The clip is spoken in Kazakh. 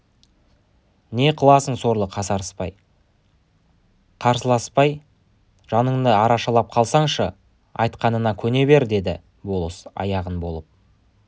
не қыласың сорлы қасарыспай қарсыласпай жаныңды арашалап қалсаңшы айтқанына көне бер деді болыс аяған болып